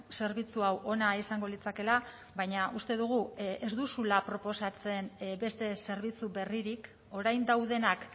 zerbitzu hau ona izango litzatekeela baina uste dugu ez duzula proposatzen beste zerbitzu berririk orain daudenak